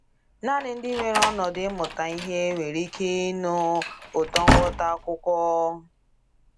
Naanị ndị nwere ọnọdụ ịmụta ihe nwere ike ịnụ ụtọ nghọta akwụkwọ.